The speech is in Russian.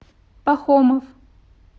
пахомов